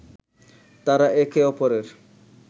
তারা একে অপরের